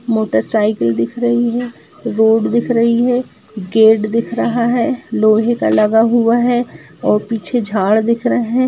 Motor cycle दिख रही है रोड दिख रही है गेट दिख रहा है लोहे का लगा हुआ है और पीछे झाड़ दिख रह है।